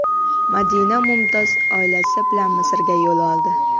Madina Mumtoz oilasi bilan Misrga yo‘l oldi.